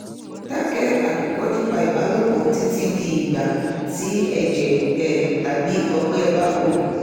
dákẹ́ àkọ́kọ́ nípa ìbálòpọ̀ títí di igba tí ẹ̀jẹ́ um tàbí ọgbẹ́ bá wò